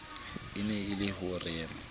e na le ho rema